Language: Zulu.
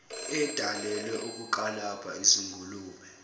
edalelwe ukukalabha izingulube